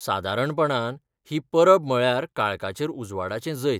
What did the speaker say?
सादारणपणान, ही परब म्हळ्यार काळखाचेर उजवाडाचें जैत.